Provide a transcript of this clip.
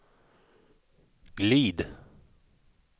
glid